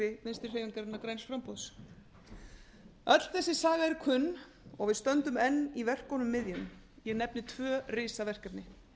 vinstri hreyfingarinnar græns framboðs öll þessi saga er kunn og við stöndum enn í verkunum miðjum ég nefni tvö risaverkefni